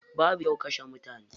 Babu kyau kashe mutune.